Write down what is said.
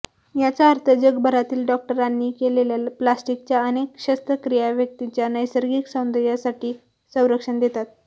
याचा अर्थ जगभरातील डॉक्टरांनी केलेल्या प्लास्टिकच्या अनेक शस्त्रक्रिया व्यक्तीच्या नैसर्गिक सौंदर्यासाठी संरक्षण देतात